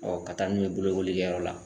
Ɔɔ ka taa n'u ye bolokolikɛyɔrɔ la